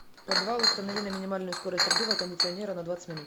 подвал установи на минимальную скорость обдува кондиционера на двадцать минут